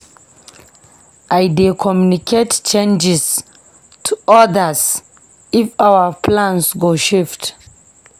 I dey communicate changes to others if our plans go shift.